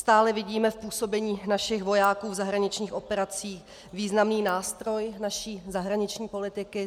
Stále vidíme v působení našich vojáků v zahraničních operacích významný nástroj naší zahraniční politiky.